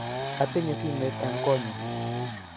Atinye simet eng konnyu